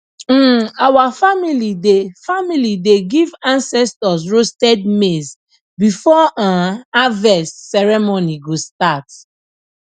um our family dey family dey give ancestors roasted maize before um harvest ceremony go start